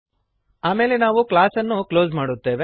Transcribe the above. ಆಮೇಲೆ ನಾವು ಕ್ಲಾಸ್ ಅನ್ನು ಕ್ಲೋಸ್ ಮಾಡುತ್ತೇವೆ